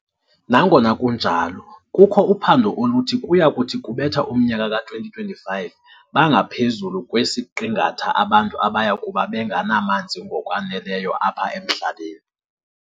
Nangona kunjalo, kukho uphando oluthi kuya kuthi kubetha umnyaka ka-2025 bangaphezulu kwesiqingatha abantu abayakube benganamanzi ngokwaneleyo apha emhlabeni.